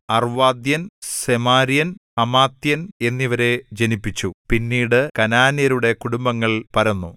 അർവ്വാദ്യൻ സെമാര്യൻ ഹമാത്യൻ എന്നിവരെ ജനിപ്പിച്ചു പിന്നീട് കനാന്യരുടെ കുടുംബങ്ങൾ പരന്നു